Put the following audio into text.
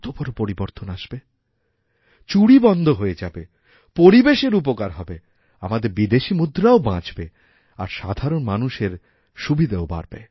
কত বড় পরিবর্তন আসবে চুরি বন্ধ হয়ে যাবে পরিবেশের উপকার হবে আমাদেরবিদেশী মুদ্রাও বাঁচবে আর সাধারণ মানুষের সুবিধাও বাড়বে